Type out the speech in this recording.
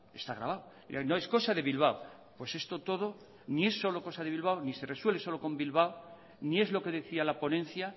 está grabado no es cosa de bilbao pues esto todo ni es solo cosa de bilbao ni se resuelve solo con bilbao ni es lo que decía la ponencia